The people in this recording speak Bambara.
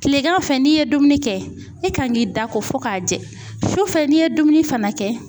kilegan fɛ n'i ye dumuni kɛ e kan k'i da ko fo ka jɛ, sufɛ n'i ye dumuni fana kɛ